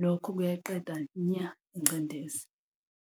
Lokho-ke kuyayiqeda nya ingcindezi.